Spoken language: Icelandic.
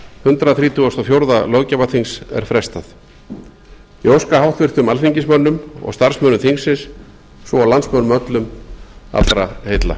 hundrað þrítugasta og fjórða löggjafarþings er frestað ég óska háttvirtum alþingismönnum og starfsmönnum þingsins svo og landsmönnum öllum allra heilla